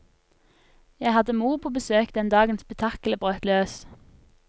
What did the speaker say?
Jeg hadde mor på besøk den dagen spetakkelet brøt løs.